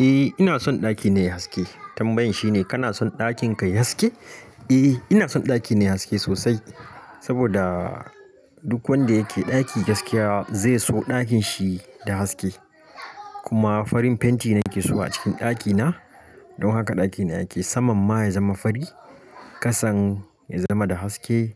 Eh ina son ɗakina yayi haske. Tambayan shine kana son ɗakinka yayi haske? Eh ina son ɗakina yayi haske sosai. Saboda duk wanda yake ɗaki gaskiya zai so ɗakinshi da haske. Kuma farin fenti nake suna a cikin ɗakina don haka ɗakina yake saman ma yazama fari, kasan yazama da haske,